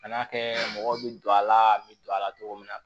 Kan'a kɛ mɔgɔw bɛ don a la n bɛ don a la cogo min na